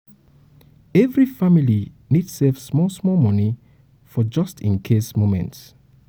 every family need save small-small money for "just in case" moments.